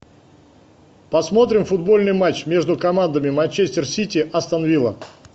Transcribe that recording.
посмотрим футбольный матч между командами манчестер сити астон вилла